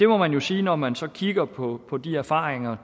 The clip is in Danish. må man jo sige når man så kigger på på de erfaringer